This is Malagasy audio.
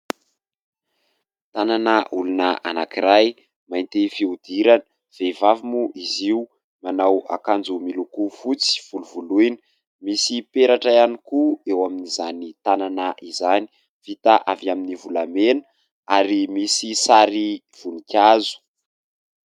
tanana olona anankiray ! mainty fiodirana ; vehivavy moa izy, io manao akanjo miloko fotsy volovoloina, misy peratra ihany koa eo amin'izany tanana izany, vita avy amin'ny volamena ary misy sary vonikazo.